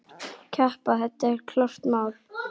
Keppa, það er klárt mál.